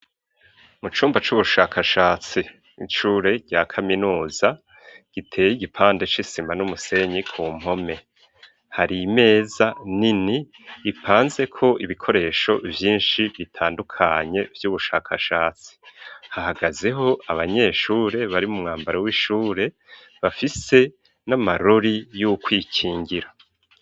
Mu cumba c'ubushakashatsi ishure rya kaminuza ,giteye igipande c'isima n'umusenyi ku mpome,, hari imeza nini ipanze ko ibikoresho byinshi bitandukanye vy'ubushakashatsi ,hahagazeho abanyeshure bari mu mwambaro w'ishure ,bafise n'amarori y'ukwikingira.